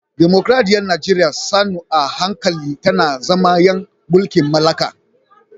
Dimokuradiyyar Najeriya sannu a hankali tana zama ‘yan mulkin mallaka